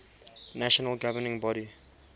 national governing body